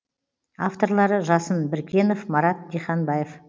авторлары жасын біркенов марат диханбаев